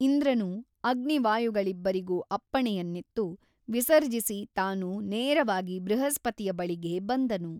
ಇಂದ್ರನು ಅಗ್ನಿ ವಾಯುಗಳಿಬ್ಬರಿಗೂ ಅಪ್ಪಣೆಯನ್ನಿತ್ತು ವಿಸರ್ಜಿಸಿ ತಾನು ನೇರವಾಗಿ ಬೃಹಸ್ಪತಿಯ ಬಳಿಗೆ ಬಂದನು.